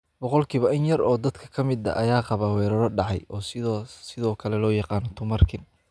Boqolkiiba in yar oo dadka ka mid ah ayaa qaba weerarro dhacay, oo sidoo kale loo yaqaanno tumarkin.